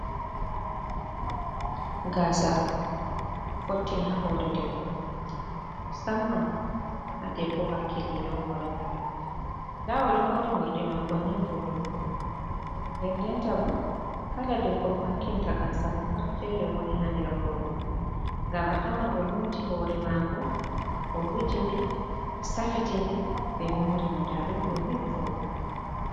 Gasa fottini ha hore debbo musamman ha debbo hakkilide hore mum ,damo odo mori mordi mako ni vodugo nden denta bo kala debbo mo hakkilinta gasa mon pat fere woni ha der robe gam a tawan o loti hore mako bo owujide bo safitide be mori mo dadum do ni vodugo.